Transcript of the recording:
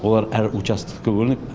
олар әр участокқа бөлініп